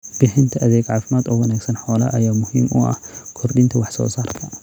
Bixinta adeeg caafimaad oo wanaagsan xoolaha ayaa muhiim u ah kordhinta wax soo saarka.